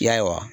Ya